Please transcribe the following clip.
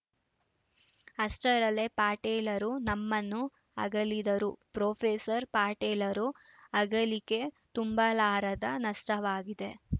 ಅಷ್ಟರಲ್ಲೇ ಪಟೇಲರು ನಮ್ಮನ್ನು ಅಗಲಿದರು ಪ್ರೊಫೆಸರ್ ಪಟೇಲರ ಅಗಲಿಕೆ ತುಂಬಲಾರದ ನಷ್ಟವಾಗಿದೆ